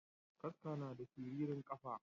Kaska nada siririn kafa.